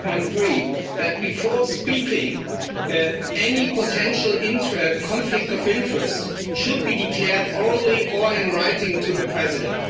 3.3 that, before speaking, any potential conflict of interest should be declared orally or in writing to the President.